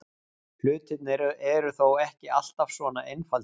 Hlutirnir eru þó ekki alltaf svona einfaldir.